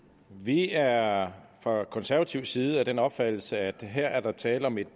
vi er fra konservativ side af den opfattelse at der her er tale om et